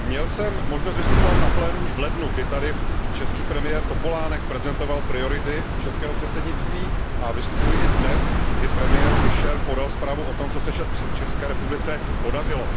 Měl jsem možnost vystupovat na plénu už v lednu, kdy tady český premiér Topolánek prezentoval priority českého předsednictví, a vystupuji i dnes, kdy premiér Fischer podal zprávu o tom, co se České republice podařilo.